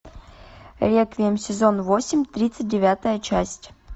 реквием сезон восемь тридцать девятая часть